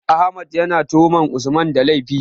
Ahmed ya na tuhumar Usman da laifi